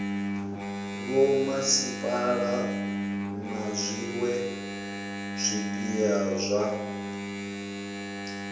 vhomasipala na zwiwe zwipia zwa